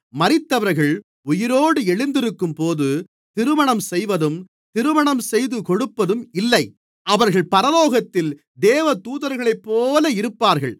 மரித்தவர்கள் உயிரோடு எழுந்திருக்கும்போது திருமணம் செய்வதும் திருமணம்செய்து கொடுப்பதும் இல்லை அவர்கள் பரலோகத்தில் தேவதூதர்களைப்போல இருப்பார்கள்